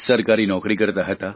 સરકારી નોકરી કરતા હતા